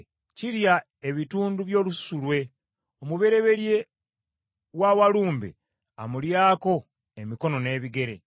Kirya ebitundu by’olususu lwe; omubereberye wa walumbe amulyako emikono n’ebigere.